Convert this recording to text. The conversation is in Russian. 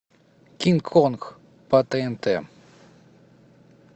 кинг конг по тнт